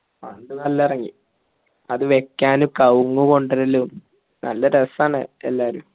A fund നല്ല എറങ്ങി അത് വെക്കാൻ കഴ്ങ്ങു കൊണ്ട് വരലും നല്ല റസാണ് എല്ലാരും